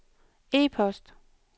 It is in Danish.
e-post